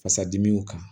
Fasadimiw kan